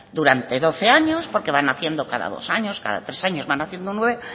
durante doce años porque van naciendo cada dos años cada tres años van naciendo